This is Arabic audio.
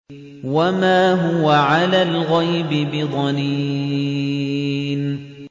وَمَا هُوَ عَلَى الْغَيْبِ بِضَنِينٍ